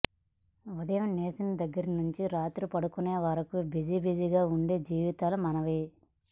ఉదయం లేచిన దగ్గరి నుంచి రాత్రి పడుకునే వరకు బిజి బిజీగా ఉండే జీవితాలు మనవి